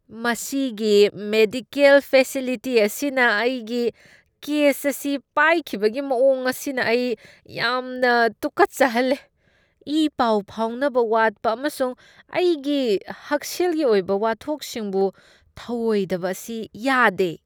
ꯃꯁꯤꯒꯤ medical facility ꯑꯁꯤꯅ ꯑꯩꯒꯤ ꯀꯦꯁ ꯑꯁꯤ ꯄꯥꯏꯈꯤꯕꯒꯤ ꯃꯑꯣꯡ ꯑꯁꯤꯅ ꯑꯩ ꯌꯥꯝꯅ ꯇꯨꯀꯠꯆꯍꯜꯂꯦ꯫ ꯏꯄꯥꯎ ꯐꯥꯎꯅꯕ ꯋꯥꯠꯄ ꯑꯃꯁꯨꯡ ꯑꯩꯒꯤ ꯍꯛꯁꯦꯜꯒꯤ ꯑꯣꯏꯕ ꯋꯥꯊꯣꯛꯁꯤꯡꯕꯨ ꯊꯧꯑꯣꯏꯗꯕ ꯑꯁꯤ ꯌꯥꯗꯦ꯫